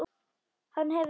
Hann hefur SÉÐ AÐ SÉR.